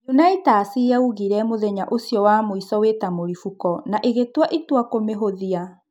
Unaitas yaiguire mũthenya ũcio wa mũico wĩta-mũripũko na ĩgĩtua itua kũmĩhũthia.